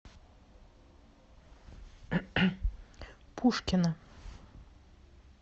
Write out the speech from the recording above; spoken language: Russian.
пушкино